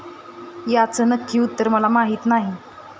याचं नक्की उत्तर मला माहिती नाही.